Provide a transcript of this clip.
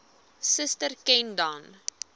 suster ken dan